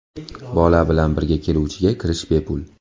Bola bilan birga keluvchiga kirish bepul.